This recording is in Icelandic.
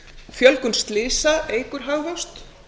fjölgun slysa eykur hagvöxt